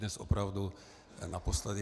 Dnes opravdu naposledy.